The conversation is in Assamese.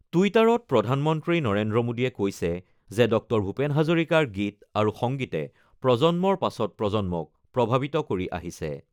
টুইটাৰত প্ৰধানমন্ত্ৰী নৰেন্দ্ৰ মোদীয়ে কৈছে যে ডঃ ভূপেন হাজৰিকাৰ গীত আৰু সংগীতে প্ৰজন্মৰ পাছত প্ৰজন্মক প্ৰভাৱিত কৰি আহিছে।